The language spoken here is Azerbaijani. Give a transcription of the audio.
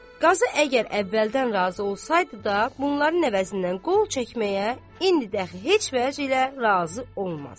Qazı əgər əvvəldən razı olsaydı da, bunların əvəzindən qol çəkməyə indi də heç vəclə razı olmazdı.